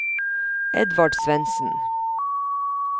Edvard Svendsen